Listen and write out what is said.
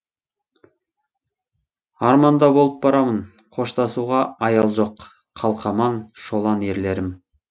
арманда болып барамын қоштасуға аял жоқ қалқаман шолан ерлерім